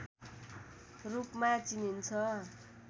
रूपमा चिनिन्छ